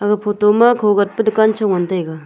aga photo ma kho gat pe dukan cho ngan taiga.